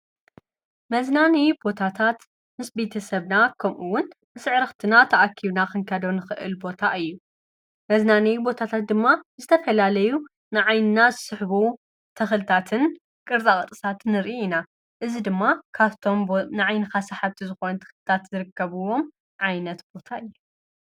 መዝናኒ ቦታታት ምስ ቢተ ሰብና ከምኡውን ምስዕርኽትና ተኣኪብና ኽንከዶን ኽእል ቦታ እዩ። መዝናኒይ ቦታታት ድማ ዝተፈላለዩ ንዓይንና ስሕቡ ተኽልታትን ቕርጻ ቕርጺ ንርኢ ኢና እዝ ድማ ካትቶም ንዓይንኻ ሳሓብቲ ዝኾነን ተኽልታት ዝርቀብዎም ዓይነት ቦታ እየ።